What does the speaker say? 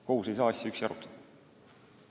Kohus ei saa asja üksi arutada.